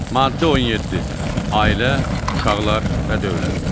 Maddə 17, Ailə, uşaqlar və dövlət.